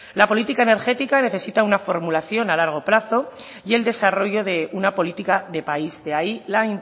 la política energética necesita una formulación a largo plazo y el desarrollo de una política de país de ahí la